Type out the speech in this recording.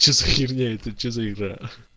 что за херня это что за игра